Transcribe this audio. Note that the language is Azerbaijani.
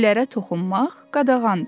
Güllərə toxunmaq qadağandır.